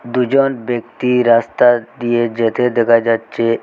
দুজন ব্যক্তি রাস্তা দিয়ে যেতে দেখা যাচ্ছে।